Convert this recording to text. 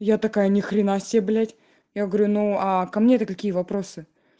я такая ни хрена себе блять я говорю ну а ко мне то какие вопросы